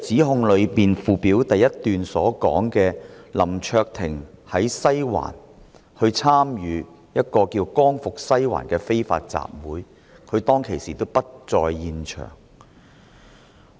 何議員議案第一段指出，林卓廷議員在西環參與名為"光復西環"的非法集會，但林議員當時並不在現場。